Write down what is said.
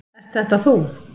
Ert þetta þú?